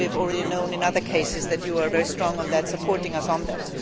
We already knew from other cases that you are very strong on that and support us on that.